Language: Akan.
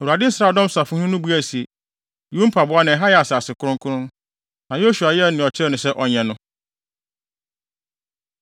Awurade nsraadɔm safohene no buae se, “Yi wo mpaboa na ɛha yɛ asase kronkron.” Na Yosua yɛɛ nea ɔkyerɛɛ no sɛ ɔnyɛ no.